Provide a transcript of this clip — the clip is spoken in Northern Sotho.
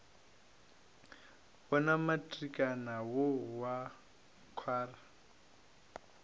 wona matrikana wo wa kgwara